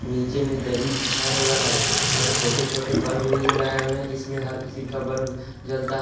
नीचे में दरी बिछाया हुआ है और छोटे छोटे बल्ब भी लगाया है जिसमें हर किसी का बल्ब जलता है।